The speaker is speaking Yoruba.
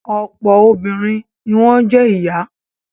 Ọ̀pọ̀ obìnrin ni wọ́n jẹ́ ìyá.